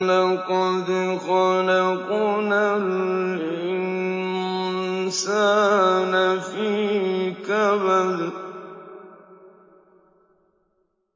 لَقَدْ خَلَقْنَا الْإِنسَانَ فِي كَبَدٍ